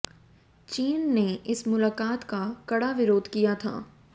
चीन ने इस मुलाकात का कड़ा विरोध किया था